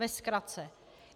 Ve zkratce.